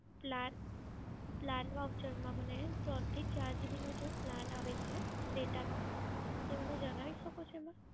Plan Plan Voucher માં મને ત્રણથી ચાર GB નો જે Plan આવે છે, Data નો એ મને જણાવી શકો છો મેમ?